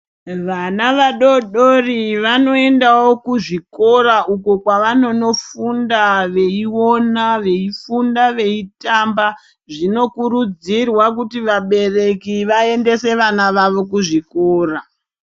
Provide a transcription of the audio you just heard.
Vana vadodori vano endawo ku zvikora uko kwavanono funda veyi ona veyi funda veyi tamba zvino kurudzirwa kuti vabereki vaendese vana vavo ku zvikora.